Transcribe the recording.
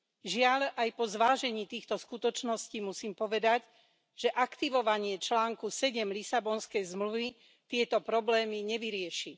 Žiaľ, aj po zvážení týchto skutočností musím povedať, že aktivovanie článku 7 Lisabonskej zmluvy tieto problémy nevyrieši.